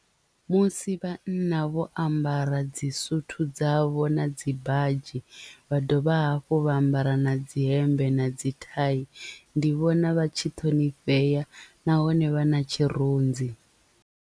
Musi vhanna vho ambara dzi suthu dzavho na dzi badzhi vha dovha hafhu vha ambara na dzi hemmbe na dzi thai ndi vhona vha tshi ṱhonifhea nahone vha na tshirunzi.